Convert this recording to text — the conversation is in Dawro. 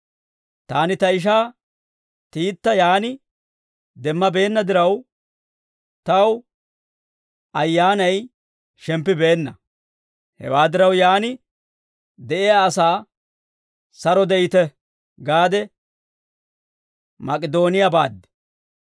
Taani ta ishaa Tiita yaan demmabeenna diraw, taw ayyaanay shemppibeenna. Hewaa diraw, yaan de'iyaa asaa, «Saro de'ite» gaade Mak'idooniyaa baad.